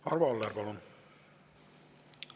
Arvo Aller, palun!